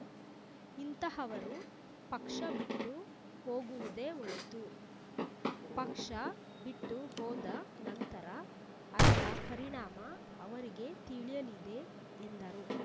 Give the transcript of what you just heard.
ಇಂತಹವರು ಪಕ್ಷ ಬಿಟ್ಟು ಹೋಗುವುದೇ ಒಳೆತು ಪಕ್ಷ ಬಿಟ್ಟು ಹೋದ ನಂತರ ಅದರ ಪರಿಣಾಮ ಅವರಿಗೆ ತಿಳಿಯಲಿದೆ ಎಂದರು